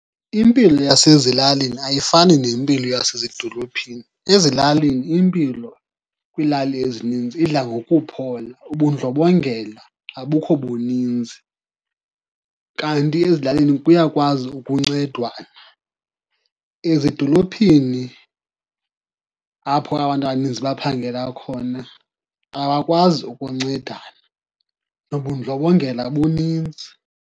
Impilo yasezilalini ayifani nempilo yasezidolophini. Ezilalini impilo kwiilali ezininzi idla ngokuphola, ubundlobongela abukho buninzi. Kanti ezilalini kuyakwazi ukuncedwana, ezidolophini apho abantu abaninzi baphangela khona abakwazi ukuncedana, nobundlobongela buninzi.